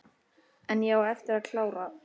En ég á eftir að klára.